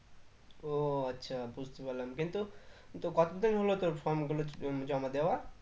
ও আচ্ছা বুঝতে পারলাম কিন্তু তো কত দিন হলো তোর form গুলো উম জমা দেওয়ার?